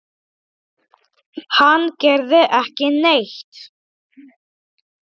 Hann gerði ekki neitt.